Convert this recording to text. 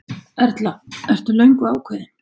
Erla: Ertu löngu ákveðinn?